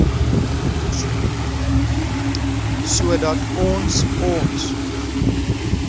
sodat ons ons